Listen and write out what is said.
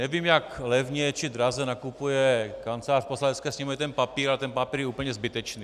Nevím, jak levně či draze nakupuje Kancelář Poslanecké sněmovny ten papír, ale ten papír je úplně zbytečný.